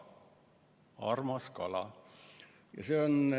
"Armas kala"!